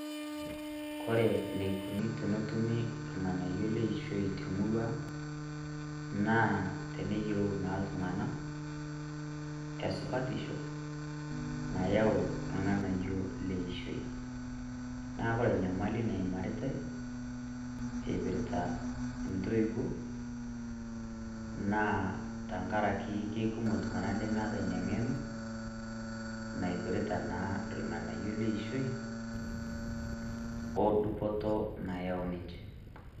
Kore enikunu tonotumi irng'anayio leishoi temurua ang',naa teneyieu naa iltung'anak esupatisho nayau irng'anayio leishoi. Na kore enyamali naimaritae, ipirta intoiwuo, naa tankaraki kekumok iltung'anak lemeeta ina ng'eno, naipirta naa irng'anayio leishoi, odupoto nayau ninche.